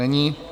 Není.